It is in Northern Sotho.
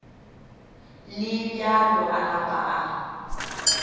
le bjalo a napa a